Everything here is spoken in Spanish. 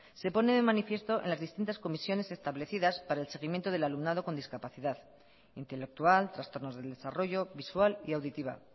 se pone de manifiesto en las distintas comisiones establecidas para el seguimiento del alumnado con discapacidad intelectual trastornos del desarrollo visual y auditiva